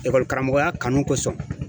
karamɔgɔya kanu kosɔn.